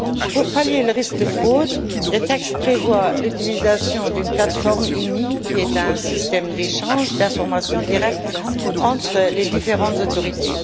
Pour pallier le risque de fraude, le texte prévoit l'utilisation d'une plateforme IMI, qui est un système d'échange d'informations direct entre les différentes autorités.